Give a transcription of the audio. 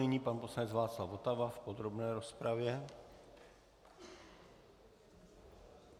Nyní pan poslanec Václav Votava v podrobné rozpravě.